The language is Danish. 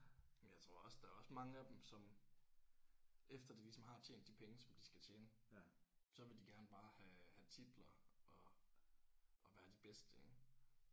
Men jeg tror også der er også mange af dem som efter de ligesom har tjent de penge som de skal tjene så vil de gerne bare have have titler og og være de bedste ik